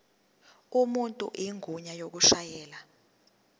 umuntu igunya lokushayela